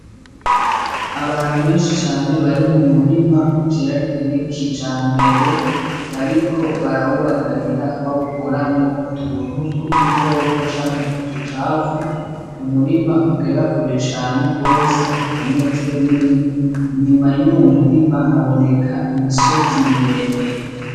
Abantu benshi cane bari mu murima uteragiye kijambere bariko barawubagarira bawukuramwo utuntu tw'udukoko canke uducafu, umurima ugera kure cane gose nko ku metero nini, inyuma yuwo murima haboneka imisozi miremire.